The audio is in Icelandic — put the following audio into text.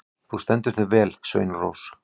Þú stendur þig vel, Sveinrós!